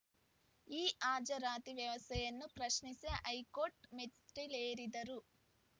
ಈ ಹಾಜರಾತಿ ವ್ಯವಸ್ಥೆಯನ್ನು ಪ್ರಶ್ನಿಸಿ ಹೈಕೋರ್ಟ್ ಮೆಟ್ಟಿಲೇರಿದ್ದರು